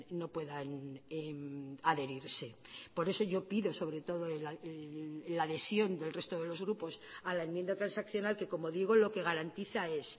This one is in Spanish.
no puedan adherirse por eso yo pido sobre todo la adhesión del resto de los grupos a la enmienda transaccional que como digo lo que garantiza es